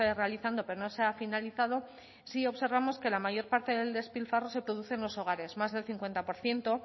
realizando pero no se ha finalizado sí observamos que la mayor parte del despilfarro se produce en los hogares más del cincuenta por ciento